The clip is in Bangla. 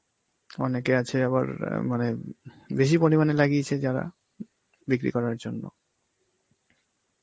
অনেকে আছে আবার আঁ মানে বেশি পরিমাণে লাগিয়েছে যারা, বিক্রি করার জন্য.